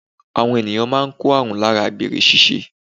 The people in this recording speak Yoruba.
Àwọn ènìyàn máa n kó àrùn láara àgbèrè síse